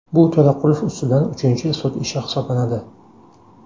Bu To‘raqulov ustidan uchinchi sud ishi hisoblanadi.